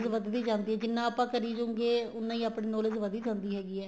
ਵੱਧਦੀ ਜਾਂਦੀ ਏ ਜਿੰਨਾ ਆਪਾਂ ਕਰੀ ਜਉਗੇ ਉੰਨਾ ਹੀ ਆਪਣੀ knowledge ਵੱਧੀ ਜਾਂਦੀ ਹੈਗੀ ਏ